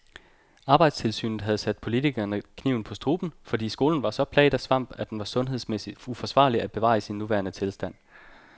Arbejdstilsynet havde sat politikerne kniven på struben, fordi skolen var så plaget af svamp, at den var sundhedsmæssig uforsvarlig at bevare i sin nuværende tilstand.